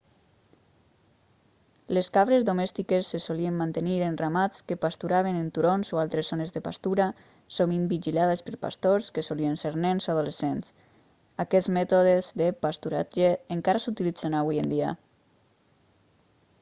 les cabres domèstiques se solien mantenir en ramats que pasturaven en turons o altres zones de pastura sovint vigilades per pastors que solien ser nens o adolescents aquests mètodes de pasturatge encara s'utilitzen avui en dia